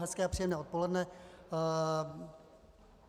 Hezké a příjemné odpoledne.